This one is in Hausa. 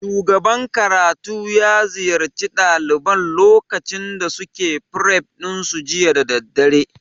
Shugaban karatu ya ziyarci ɗaliban lokacin da suke fref ɗin su jiya da daddare